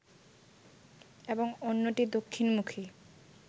এবং অন্যটি দক্ষিণমুখী